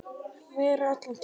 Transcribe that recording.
Vera allan tímann eða hluta.